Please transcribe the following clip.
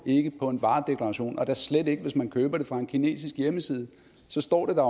ikke på en varedeklaration og da slet ikke hvis man køber det fra en kinesisk hjemmeside så står det der